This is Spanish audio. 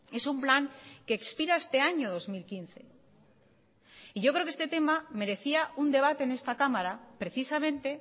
es un plan que expira este año dos mil quince y yo creo que este tema merecía un debate en esta cámara precisamente